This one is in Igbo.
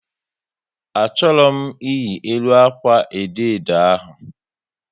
A chọrọ m iyi elu akwa edo edo ahu